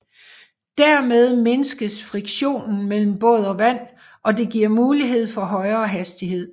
Dermed mindskes friktionen mellem båd og vand og det giver mulighed for højere hastighed